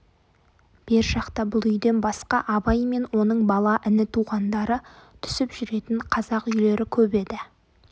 бер жақта бұл үйден басқа абай мен оның бала іні туғандары түсіп жүретін қазақ үйлері көп еді